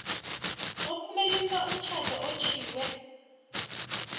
ophumelelisa umtjhado otjhwiwe